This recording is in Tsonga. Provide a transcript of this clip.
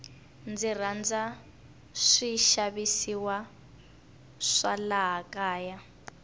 ndzi rhandza swi xavisiwa swa laha kaya